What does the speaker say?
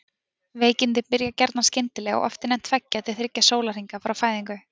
Veikindin byrja gjarnan skyndilega og oft innan tveggja til þriggja sólarhringa frá fæðingu.